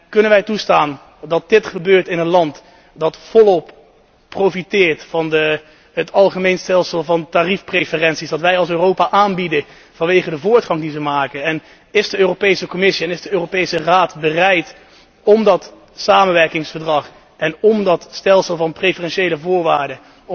Kunnen wij toestaan dat dit gebeurt in een land dat volop profiteert van het algemeen stelsel van tariefpreferenties dat wij als Europa aanbieden vanwege de voortgang die er wordt geboekt? Zijn de Europese Commissie en de Europese Raad bereid om dat samenwerkingsverdrag en dat stelsel van preferentiële voorwaarden